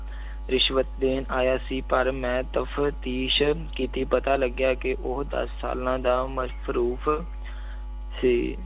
ਰਿਸ਼ਵਤ ਦੇਣ ਆਇਆ ਸੀ ਪਰ ਮੈਂ ਤਫ਼ਦੀਸ ਕੀਤੀ ਪਤਾ ਲੱਗਿਆ ਕਿ ਉਹ ਦਸ ਸਾਾਲਾਂ ਦਾ ਮਸ਼ਰੂਫ਼ ਸੀ।